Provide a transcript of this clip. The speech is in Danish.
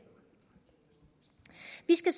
vi skal